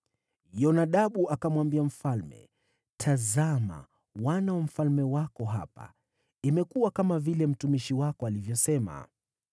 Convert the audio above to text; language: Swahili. Yonadabu akamwambia mfalme, “Tazama, wana wa mfalme wako hapa; imekuwa kama vile mtumishi wako alivyosema.”